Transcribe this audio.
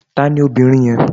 Tani obìnrin yẹn?